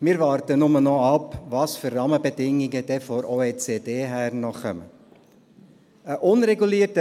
Wir warten nur noch ab, welche Rahmenbedingungen dann von der Organisation für wirtschaftliche Zusammenarbeit und Entwicklung (OECD) her noch kommen.